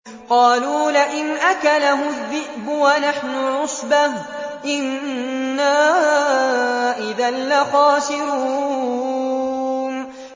قَالُوا لَئِنْ أَكَلَهُ الذِّئْبُ وَنَحْنُ عُصْبَةٌ إِنَّا إِذًا لَّخَاسِرُونَ